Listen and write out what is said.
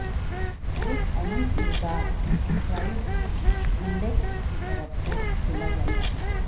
ایک اہم کردار پرائس انڈیکس کی طرف سے کھیلا جاتا ہے